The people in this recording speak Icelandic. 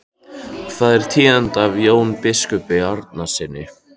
Hvað er tíðinda af Jóni biskupi Arasyni?